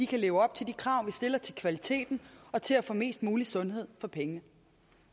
kan leve op til de krav vi stiller til kvaliteten og til at få mest mulig sundhed for pengene